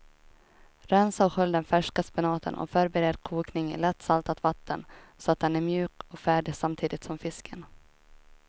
Rensa och skölj den färska spenaten och förbered kokning i lätt saltat vatten så att den är mjuk och färdig samtidigt som fisken.